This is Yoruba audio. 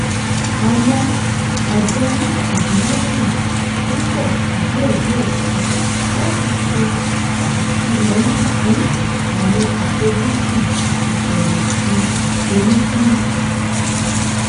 owó àjọni ìdìle náà ń pọ déédéé si láti ṣe àtìlẹyìn fún àwọn àfojúsùn ìfẹyìntì olúkúlùkù